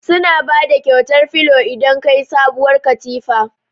Suna bada kyautar filo idan ka siyi sabuwar katifa.